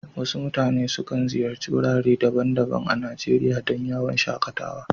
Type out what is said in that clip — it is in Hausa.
Waɗansu mutane sukan ziyarci wurare daban-daban a Najeriya don yawon shaƙatawa